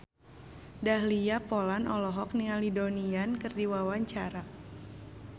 Dahlia Poland olohok ningali Donnie Yan keur diwawancara